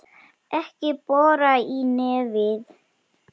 Ekki bora í nefið!